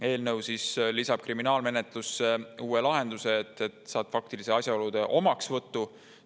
Eelnõu lisab kriminaalmenetlusse uue lahenduse, faktiliste asjaolude omaksvõtu.